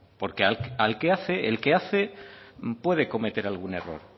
porque el que hace puede cometer algún error